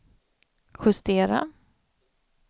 justera